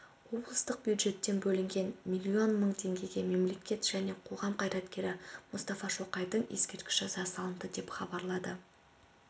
облыстық бюджеттен бөлінген миллион мың теңгеге мемлекет және қоғам қайраткері мұстафа шоқайдың ескерткіші жасалынды деп хабарлады